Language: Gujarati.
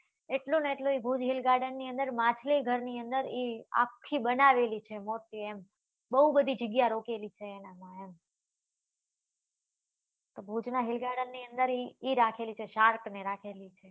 એટલું ને એટલું એ ભુજ hill garden ની અંદર માછલી ઘર ની અંદર એ આખી બનાવેલી છે મોટી એમ બઉ બધી જગ્યા રોકેલી છે એના માં એમ તો ભુજ નાં hill garden ની અંદર એ રાખેલી છે shark ને રાખેલી છે